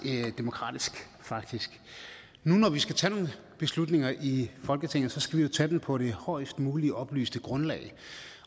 demokratisk faktisk nu når vi skal tage nogle beslutninger i folketinget skal vi jo tage dem på det højest mulige oplyste grundlag